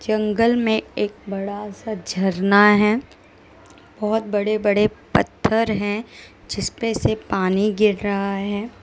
जंगल में एक बड़ा सा झरना है बहोत बड़े बड़े पत्थर हैं जिसपे से पानी गिर रहा है।